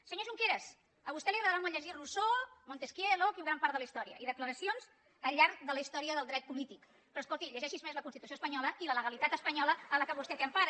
senyor junqueras a vostè li deu agradar molt llegir rousseau montesquieu locke i gran part de la història i declaracions al llarg de la història del dret polític però escolti llegeixi’s més la constitució espanyola i la legalitat espanyola en la qual vostè té empara